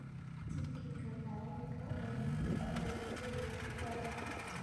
Tikidhka tareenka ee mumbai ilaa goa